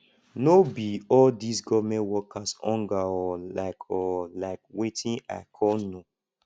no be all these government workers hunger hol like hol like wetin i ko know